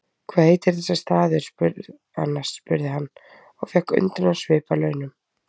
Hvað heitir þessi staður annars? spurði hann og fékk undrunarsvip að launum.